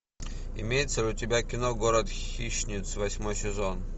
имеется ли у тебя кино город хищниц восьмой сезон